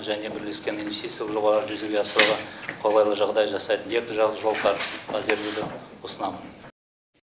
және бірлескен инвестициялық жобаларды жүзеге асыруға қолайлы жағдай жасайтын екіжақты жол карт әзірлеуді ұсынамын